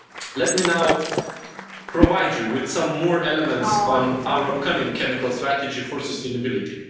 Let me now provide you with some more elements on our upcoming chemical strategy for sustainability.